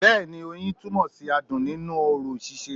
Bẹ́ẹ̀ni i oyin túnmọ̀ sí adùn nínú orò síse